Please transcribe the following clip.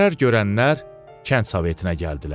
Zərər görənlər kənd sovetinə gəldilər.